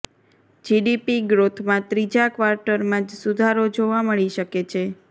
GDP ગ્રોથમાં ત્રીજા ક્વાર્ટરમાં જ સુધારો જોવા મળી શકે છે